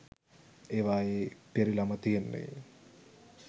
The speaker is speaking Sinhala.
ඒවායේ පිරිලම තියෙන්නේ